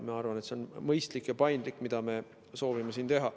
Ma arvan, et see, mida me soovime siin teha, on mõistlik ja paindlik.